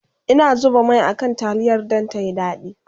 Ina zuba Mai a kan taliyar Dan tayi dadi